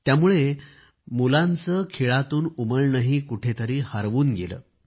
त्यामुळे मुलाचे खेळातून उमलणेही कुठं तरी हरवून गेले